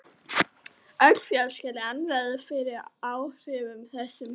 Öll fjölskyldan verður fyrir áhrifum þessa.